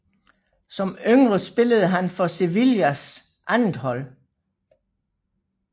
Som yngre spillede han for Sevillas andethold